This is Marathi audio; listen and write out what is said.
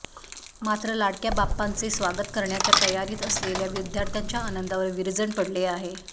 मात्र लाडक्या बाप्पांचे स्वागत करण्याच्या तयारीत असलेल्या विद्यार्थ्यांच्या आनंदावर विरजण पडले आहे